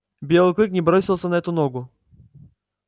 белый клык не бросился на эту ногу